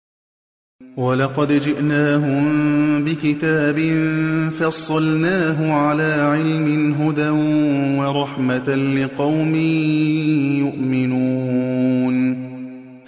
وَلَقَدْ جِئْنَاهُم بِكِتَابٍ فَصَّلْنَاهُ عَلَىٰ عِلْمٍ هُدًى وَرَحْمَةً لِّقَوْمٍ يُؤْمِنُونَ